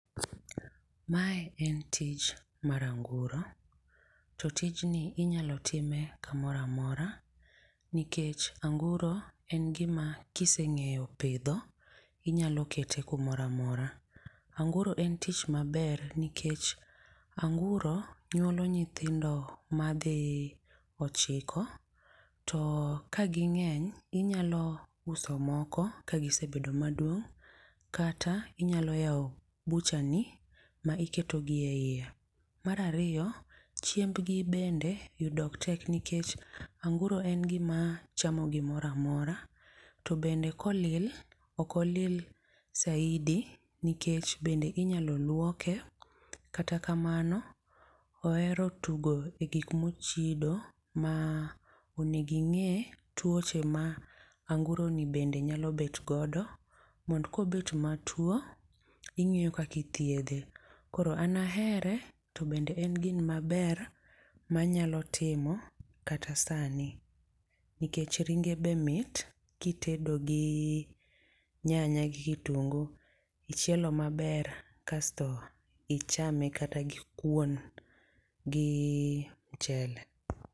Mae en tich mar anguro. To tich ni inyalo time kamoro amora. Nikech anguro en gima kisengeyo pidho inyalo kete kumoro amora. Anguro en tich maber nikech anguro nyuolo nyithindo madhi ochiko to ka ging'eny inyalo uso moko ka gisebedo maduong' kata inyalo yawo butcher ni ma iketo gi eiye. Mar ariyo, chiembgi bende yudo ok tek nikech anguro en gima chamo gimoro amora, to bende kolil, ok olil saidi nikech bende inyalo luoke. Kata kamano, oero tugo e gik mochido ma onego ing'e tuoche ma anguro ni bende nyalo bet godo mond ko bet matuo, ing'eyo kaka ithiedhe. Koro anahere, to bende en gino maber manyalo timo kata sani. Nikech ringe be mit kitedo gi nyanya gi kitungu. Ichielo maber, kasto ichame kata gikwon, gi mchele.